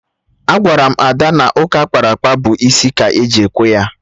Agwara m Ada na ụka akpara akpa bụ isi ka eji ekwe ya